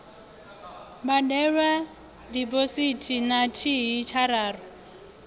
badelwa diphosithi na thihi tshararu